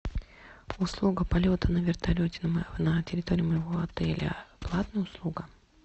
услуга полета на вертолете на территории моего отеля платная услуга